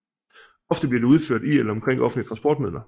Ofte bliver det udført i eller omkring offentlige transportmidler